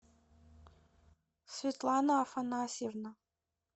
светлана афанасьевна